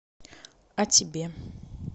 а тебе